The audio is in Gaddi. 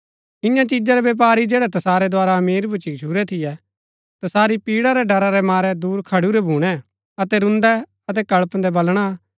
इन्या चिजा रै व्यपारी जैड़ै तसारै द्धारा अमीर भूच्ची गच्छुरै थियै तसारी पीड़ा रै ड़रा रै मारै दूर खडुरै भूणै अतै रून्दै अतै कळपदै बलणा